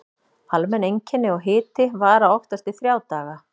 Almenn einkenni og hiti vara oftast í þrjá daga.